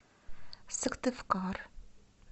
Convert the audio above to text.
сыктывкар